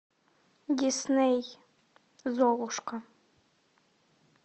дисней золушка